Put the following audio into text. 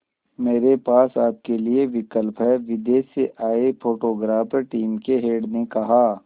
मेरे पास आपके लिए विकल्प है विदेश से आए फोटोग्राफर टीम के हेड ने कहा